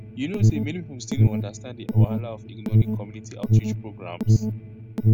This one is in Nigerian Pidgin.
you know say many people still no understand the wahala of ignoring community outreach programs